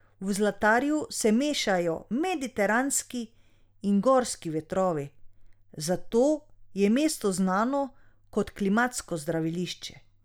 V Zlatarju se mešajo mediteranski in gorski vetrovi, zato je mesto znano kot klimatsko zdravilišče.